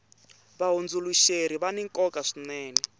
vahundzuluxeri vani nkoka swinene